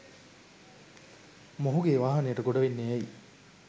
මොහුගේ වාහනයට ගොඩ වෙන්නේ ඇයි?